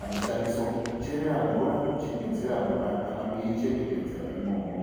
anoshandiswa kucherera mvura, kuchingidzira mvura kana kuichengetedzara imomo.